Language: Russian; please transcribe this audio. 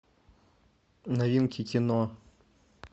новинки кино